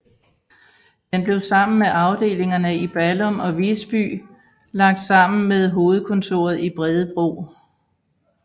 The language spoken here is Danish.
Den blev sammen med afdelingerne i Ballum og Visby lagt sammen med hovedkontoret i Bredebro